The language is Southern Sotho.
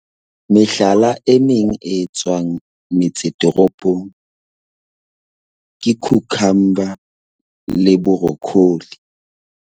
Mehlala e meng e etswang metse toropong ke cucumber le brocoli.